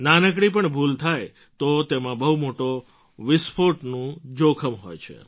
નાનકડી પણ ભૂલ થાય તો તેમાં બહુ મોટા વિસ્ફોટનું જોખમ હોય છે